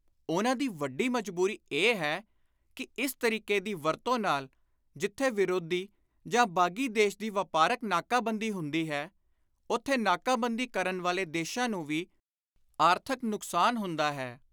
ਉਨ੍ਹਾਂ ਦੀ ਵੱਡੀ ਮਜਬੁਰੀ ਇਹ ਹੈ ਕਿ ਇਸ ਤਰੀਕੇ ਦੀ ਵਰਤੋਂ ਨਾਲ ਜਿਥੇ ਵਿਰੋਧੀ ਜਾਂ ਬਾਗ਼ੀ ਦੇਸ਼ ਦੀ ਵਾਪਾਰਕ ਨਾਕਾ-ਬੰਦੀ ਹੁੰਦੀ ਹੈ, ਉਥੇ ਨਾਕਾ-ਬੰਦੀ ਕਰਨ ਵਾਲੇ ਦੇਸ਼ਾਂ ਨੂੰ ਵੀ ਆਰਥਕ ਨੁਕਸਾਨ ਹੁੰਦਾ ਹੈ।